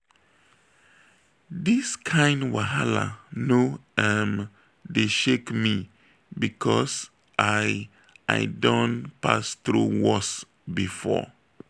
dis kain wahala no um dey shake me because i i don pass through worse before.